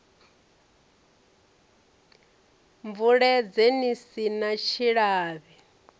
bvuledze ni si na tshilavhi